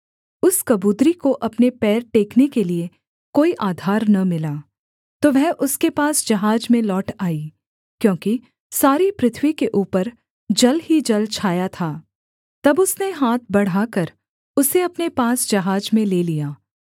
उस कबूतरी को अपने पैर टेकने के लिये कोई आधार न मिला तो वह उसके पास जहाज में लौट आई क्योंकि सारी पृथ्वी के ऊपर जल ही जल छाया था तब उसने हाथ बढ़ाकर उसे अपने पास जहाज में ले लिया